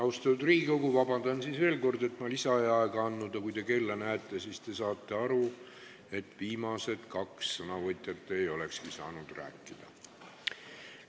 Austatud Riigikogu, palun veel kord vabandust, et ma lisaaega ei andnud, aga kui te kella vaatate, siis te saate aru, et viimased kaks sõnavõtjat ei olekski muidu rääkida saanud.